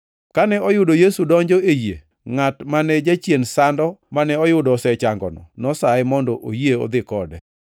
Kane oyudo Yesu donjo e yie, ngʼat mane jachien sando mane oyudo osechangono nosaye mondo oyie odhi kode.